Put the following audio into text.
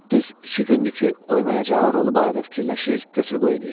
Düz iki gündür ki, oynayacağı rolu barədə fikirləşir, götür-qoy eləyirdi.